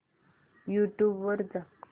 YouTube वर जा